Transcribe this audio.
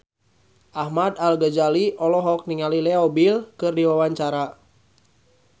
Ahmad Al-Ghazali olohok ningali Leo Bill keur diwawancara